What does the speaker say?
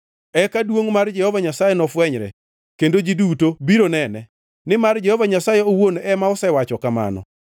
Eka duongʼ mar Jehova Nyasaye nofwenyre kendo ji duto biro nene. Nimar Jehova Nyasaye owuon ema osewacho kamano.”